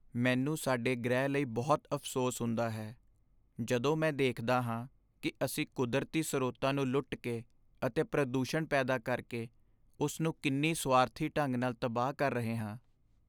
ਮੈਨੂੰ ਸਾਡੇ ਗ੍ਰਹਿ ਲਈ ਬਹੁਤ ਅਫ਼ਸੋਸ ਹੁੰਦਾ ਹੈ ਜਦੋਂ ਮੈਂ ਦੇਖਦਾ ਹਾਂ ਕਿ ਅਸੀਂ ਕੁਦਰਤੀ ਸਰੋਤਾਂ ਨੂੰ ਲੁੱਟ ਕੇ ਅਤੇ ਪ੍ਰਦੂਸ਼ਣ ਪੈਦਾ ਕਰਕੇ ਉਸ ਨੂੰ ਕਿੰਨੀ ਸੁਆਰਥੀ ਢੰਗ ਨਾਲ ਤਬਾਹ ਕਰ ਰਹੇ ਹਾਂ।